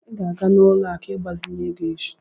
I ga-aga n'ụlọ akụ ịgbazinye ego echi.